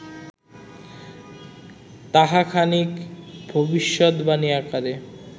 তাহা খানিক ভবিষ্যদ্বাণী আকারে